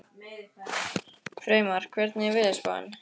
Freymar, hvernig er veðurspáin?